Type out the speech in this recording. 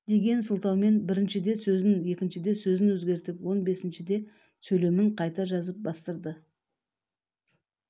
деген сылтаумен біріншіде сөзін екіншіде сөзін өзгертіп он бесіншіде сөйлемін қайта жазып бастырды